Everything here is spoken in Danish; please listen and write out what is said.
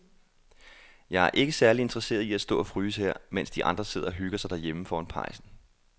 Jeg er ikke særlig interesseret i at stå og fryse her, mens de andre sidder og hygger sig derhjemme foran pejsen.